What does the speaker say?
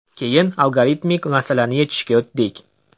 Keyin algoritmik masalani yechishga o‘tdik.